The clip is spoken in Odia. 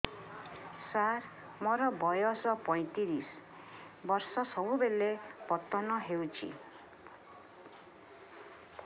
ସାର ମୋର ବୟସ ପୈତିରିଶ ବର୍ଷ ସବୁବେଳେ ପତନ ହେଉଛି